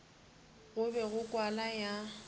go be go kwala ya